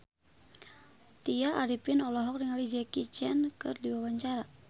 Tya Arifin olohok ningali Jackie Chan keur diwawancara